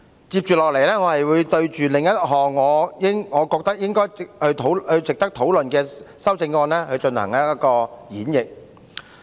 接下來，我會就另一項我認為值得討論的修正案進行演繹。